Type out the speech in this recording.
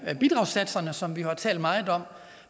bidragssatserne som vi jo har talt meget om